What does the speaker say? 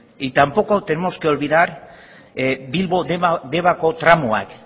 y tampoco tenemos que olvidar bilbo debako tramoak